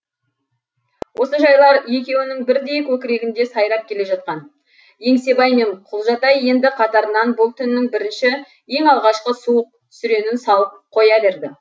осы жайлар екеуінің бірдей көкірегінде сайрап келе жатқан еңсебай мен құлжатай енді қатарынан бұл түннің бірінші ең алғашқы суық сүренін салып қоя берді